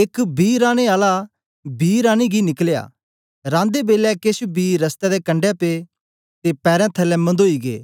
एक बी राने आला बी राने गी निकलया रांदे बेलै केछ बी रस्ते दे कंडै पे ते पैरें थलै मन्दोई गै